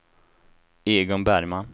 Egon Bergman